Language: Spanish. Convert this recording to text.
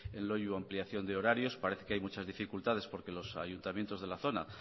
en loiu ampliación de horarios parece que hay muchas dificultades porque los ayuntamientos de la zona